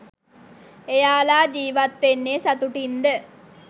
එයාල ජීවත්වෙන්නෙ සතුටින්ද